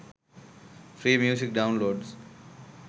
free music downloads